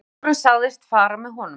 Símstjórinn sagðist fara með honum.